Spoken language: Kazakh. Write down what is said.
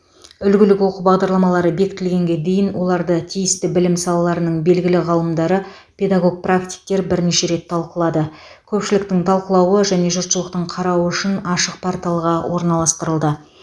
үлгілік оқу бағдарламалары бекітілгенге дейін оларды тиісті білім салаларының белгілі ғалымдары педагог практиктер бірнеше рет талқылады көпшіліктің талқылауы және жұртшылықтың қарауы үшін ашық порталға орналастырылды